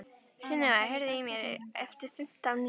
Sunniva, heyrðu í mér eftir fimmtán mínútur.